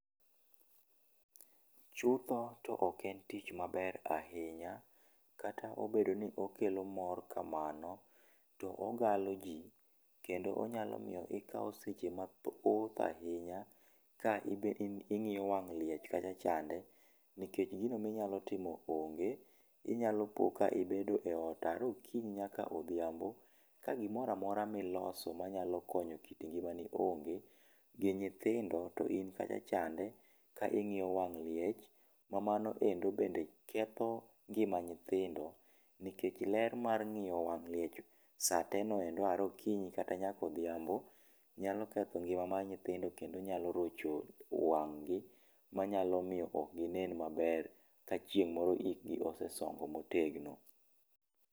Chutho to ok en tich maber ahinya, kata obedo ni okelo mor kamano to ogalo ji kendo onyalo miyo ikawo seche ma thoth ahinya, ka in be ing'iyo wang' liech kacha chande, nikech gino mi inya timo onge, inya po ni ibet e ot yare okinyo nyaka odhiambo, ka gi moro amora mi iloso ma nyalo konyo kit ngima ni onge gi nyithindo to in kacha chande ka ing'iyo wang' liech ma mano endo bende ketho ngima nyithindo nikech ler mar ng'iyo wang' liech sate no yare okinyi nyaka odhiambo nyalo ketho ngima mar nyithindo kendo nyalo rocho wang' gi ma nyalo miyo ok gi ne maber ka chieng' moro ik gi osesongo ma otegno.